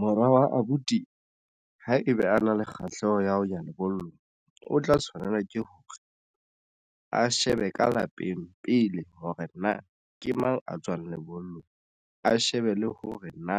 Mora wa abuti ha ebe a na le kgahleho ya ho ya lebollong o tla tshwanela ke hore a shebe ka lapeng pele hore na ke mang, a tswang lebollong a shebe le hore na